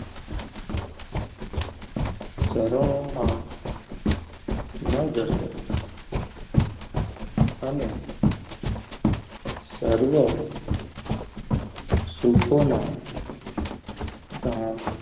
ચરણો અને સર્વ સુખોના ઘામ